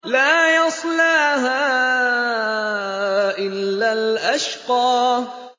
لَا يَصْلَاهَا إِلَّا الْأَشْقَى